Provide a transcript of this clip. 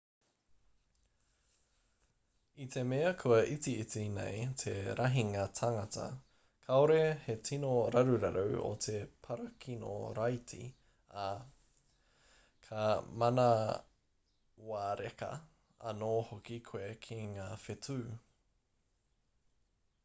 i te mea kua itiiti nei te rahinga tāngata kāore he tino raruraru o te parakino-raiti ā ka manawareka anō hoki koe ki ngā whetū